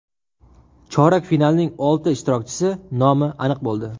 Chorak finalning olti ishtirokchisi nomi aniq bo‘ldi.